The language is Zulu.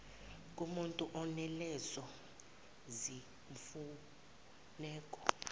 kumutu onalezo zimfuneko